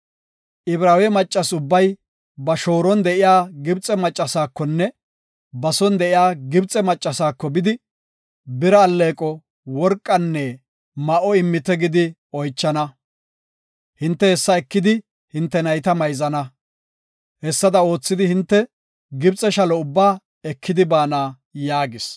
Ibraawe maccas ubbay ba shooron de7iya Gibxe maccasaakonne ba son de7iya Gibxe maccasaako bidi, bira alleeqo, worqanne ma7o immite gidi oychana. Hinte hessa ekidi hinte nayta mayzana. Hessada oothidi hinte Gibxe shalo ubbaa ekidi baana” yaagis.